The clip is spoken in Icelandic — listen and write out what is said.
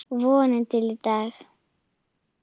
Vonina til í dag.